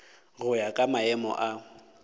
go ya ka maemo a